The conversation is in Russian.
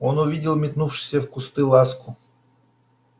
он увидел метнувшуюся в кусты ласку